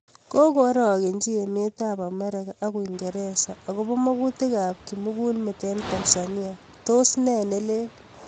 Kakoarakenchi emet ab Amerika ak uingereza akobo makutik ab kimukulmet eng Tanzania tos ne nelel?